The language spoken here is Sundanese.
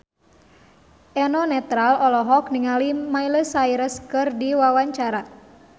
Eno Netral olohok ningali Miley Cyrus keur diwawancara